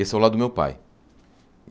Esse é o lado do meu pai.